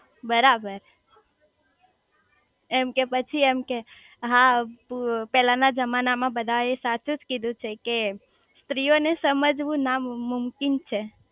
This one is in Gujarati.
બરાબર એમ કે પછી એમ કે હા પેલા ના જમાના માં બધા એ સાચુજ કીધું છે કે સ્ત્રી ઓ ને સમજવું ના મુમકીન છે